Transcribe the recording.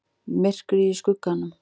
MYRKRIÐ Í SKUGGANUM